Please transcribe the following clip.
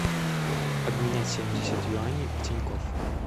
обменять семьдесят юаней в тинькофф